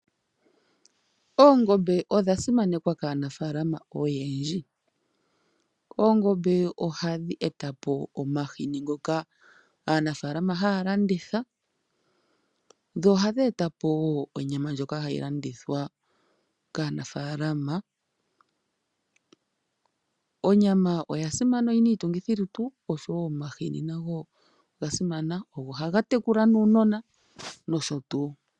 Oongombe odha simanekwa kaanafalama oyendji. Oongombe ohadhi etapo omahini ngoka aanafalama haya landitha. Dho ohadhi eta po wo onyama ndjoka hayi landithwa kaanafalama. Onyama oya simana oyina iitungithi lutu oshowo omahini nago oga simana. Ogo haga tekula nuunona nosho tuu.